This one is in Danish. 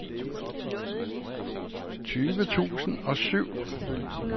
tyve tusind og syv